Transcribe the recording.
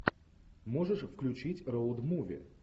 можешь включить роуд муви